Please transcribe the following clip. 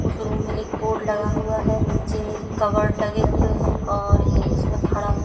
उस रूम में एक बोर्ड लगा हुआ है नीचे कवर्ड लगे हुये हैं और उसमें खड़ा--